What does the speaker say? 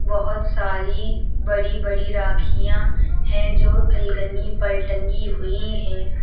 बहोत सारी बड़ी बड़ी राखियां है जो अलगनी पर टंगी हुई है।